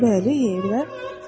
Bəli, yeyirlər.